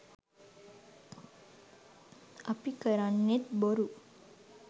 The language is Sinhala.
අපි කරන්නෙත් බොරු